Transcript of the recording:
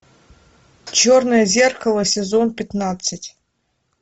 черное зеркало сезон пятнадцать